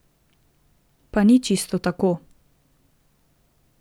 Pa ni čisto tako.